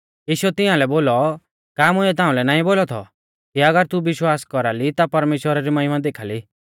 यीशुऐ तिंआलै बोलौ का मुंइऐ ताउंलै नाईं बोलौ थौ कि अगर तू विश्वास कौरा ली ता परमेश्‍वरा री महिमा देखाल़ी